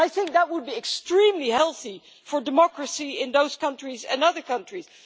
I think that would be extremely healthy for democracy in those countries and other countries.